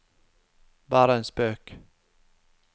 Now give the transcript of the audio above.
bare en spøk